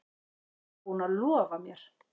Hann var búinn að lofa mér.